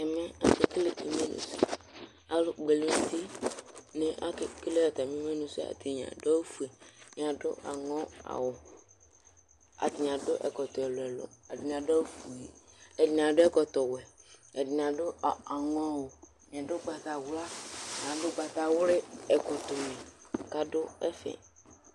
ɛmɛ ake kele imenu sɛ alo kpɔ ɛlu n'uti ake kele atami imenu sɛ atani ado awu fue ɛdini ado aŋɔ awu atani ado ɛkɔtɔ ɛlu ɛlu ɛdini ado awu fue ɛdini ado ɛkɔtɔ wɛ ɛdini ado aŋɔ awu ɛdini ado ugbatawla ɛdini ado ugbata wli ɛkɔtɔ ni k'ado ɛfɛ